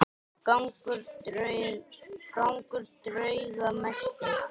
Gangur drauga mesti.